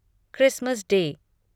Christmas day